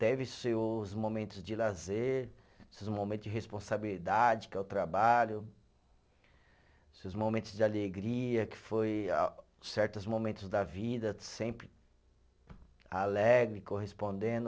Teve seus momentos de lazer, seus momentos de responsabilidade, que é o trabalho, seus momentos de alegria, que foi ah, certos momentos da vida, sempre alegre, correspondendo.